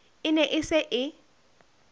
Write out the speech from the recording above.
e ne e se e